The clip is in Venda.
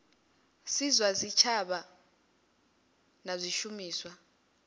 si zwa tshitshavha na zwishumiswa